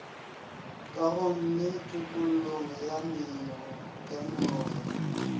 kagong le tokollong ya meoya